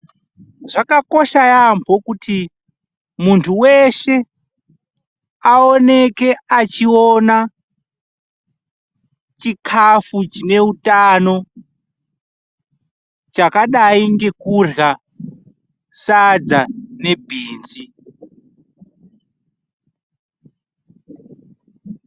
Zvakakosha yambo kuti muntu weshe aoneke achiona chikafu chine utano chakadai nekurya sadza nebhinzi.